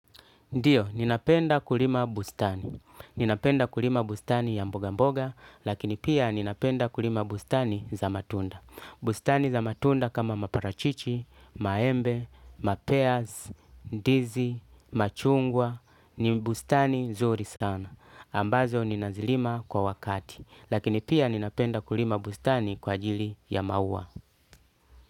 Ndiyo, ninapenda kulima bustani. Ninapenda kulima bustani ya mboga mboga, lakini pia ninapenda kulima bustani za matunda. Bustani za matunda kama maparachichi, maembe, mapeaz, ndizi, machungwa, ni bustani nzuri sana. Ambazo ninazilima kwa wakati. Lakini pia ninapenda kulima bustani kwa ajili ya maua.